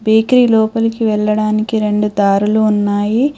Bakery లోపలికి వెళ్లడానికి రెండు దారులు ఉన్నాయి.